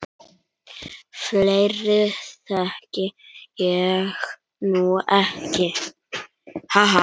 Fleiri þekki ég nú ekki.